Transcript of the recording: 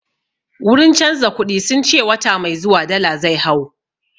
Wurin canza kuɗi sun ce wata mai zuwa dala zai hau